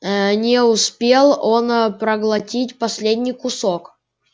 а не успел он проглотить последний кусок